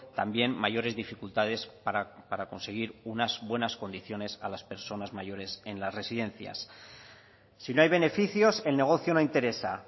también mayores dificultades para conseguir unas buenas condiciones a las personas mayores en las residencias si no hay beneficios el negocio no interesa